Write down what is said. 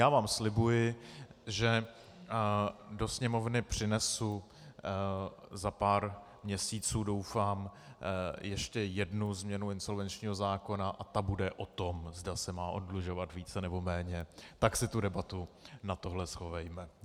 Já vám slibuji, že do Sněmovny přinesu za pár měsíců, doufám, ještě jednu změnu insolvenčního zákona a ta bude o tom, zda se má oddlužovat více, nebo méně, tak si tu debatu na tohle schovejme.